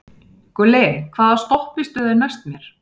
Gulli, hvaða stoppistöð er næst mér?